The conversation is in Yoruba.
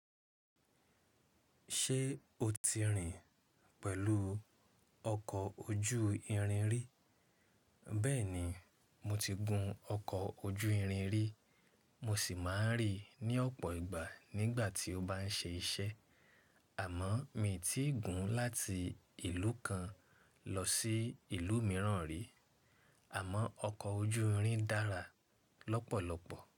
Ṣé o ti rìn pẹ̀lú ọkọ̀ ojú irin rí? Bẹ́ẹ̀ni, mo ti gun ọkọ̀ ojú irin rí, mo sì máa ń rí i ní ọ̀pọ̀ ìgbà nígbà tí ó bá ń ṣe iṣẹ́. Àmọ́ mi ò tíì gùn láti ìlú kan lọ sí ìlú mìíràn rí. Àmọ́ ọkọ̀ ojú irin dára lọ́pọ̀lọpọ̀.